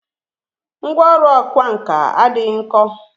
Ngwá ọrụ ọkwá nkà adịghị nkọ